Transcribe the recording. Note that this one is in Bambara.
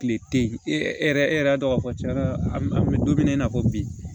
Kile te yen e yɛrɛ e yɛrɛ y'a dɔn k'a fɔ tiɲɛ yɛrɛ la an bɛ don min na i n'a fɔ bi